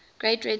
great red spot